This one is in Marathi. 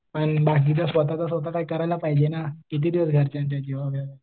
पण बाकीचं स्वतःच स्वतः कायतरी करायला पाहिजे ना. कितीदिवस घरच्यांच्या जीवावर?